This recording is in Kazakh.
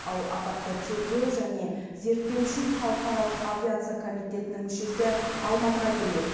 ал апатты тергеу және зерттеу үшін халықаралық авиация комитетінің мүшесі алматыға келмек